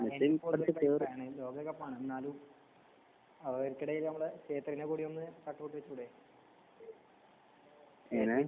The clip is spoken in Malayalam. മെസ്സി എങ്ങനെ